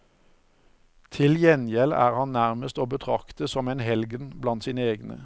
Til gjengjeld er han nærmest å betrakte som en helgen blant sine egne.